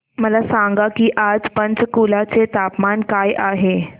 मला सांगा की आज पंचकुला चे तापमान काय आहे